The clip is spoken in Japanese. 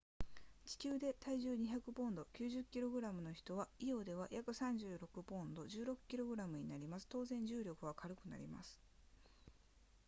地球で体重200ポンド 90kg の人はイオでは約36ポンド 16kg になります当然重力は軽くなります